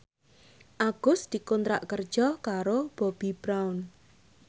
Agus dikontrak kerja karo Bobbi Brown